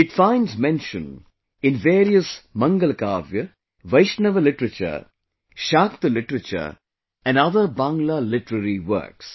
It finds mention in various Mangalakavya, Vaishnava literature, Shakta literature and other Bangla literary works